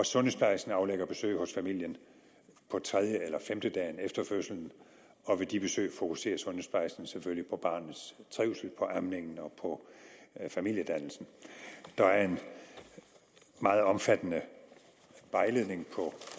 sundhedsplejersken aflægger besøg hos familien på tredje eller femtedagen efter fødslen og ved de besøg fokuserer sundhedsplejersken selvfølgelig på barnets trivsel på amningen og på familiedannelsen der er en meget omfattende vejledning